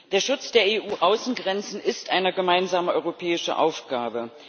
Der Schutz der EU Außengrenzen ist eine gemeinsame europäische Aufgabe.